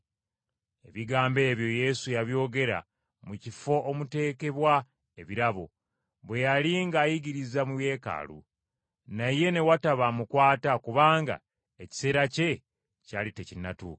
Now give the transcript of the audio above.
Ebigambo ebyo Yesu yabyogerera mu kifo omuteekebwa ebirabo, bwe yali ng’ayigiriza mu Yeekaalu. Naye ne wataba amukwata, kubanga ekiseera kye kyali tekinnatuuka.